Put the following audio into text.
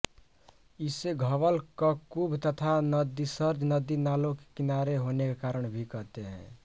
इसे घवल ककुभ तथा नदीसर्ज नदी नालों के किनारे होने के कारण भी कहते हैं